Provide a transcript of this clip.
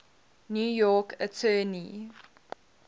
new york attorney